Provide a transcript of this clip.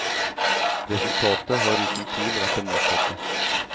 Resultatet har uten tvil vært det motsatte.